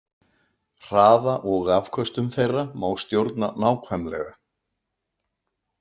Hraða og afköstum þeirra má stjórna nákvæmlega.